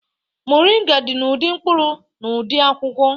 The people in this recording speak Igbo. Moringa dị n'ụdị mkpụrụ na ụdị akwụkwọ